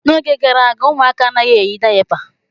N'oge gara aga, ụmụaka anaghị eyi dayapa.